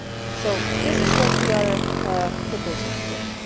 start. So this is what we are proposing